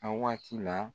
A waati la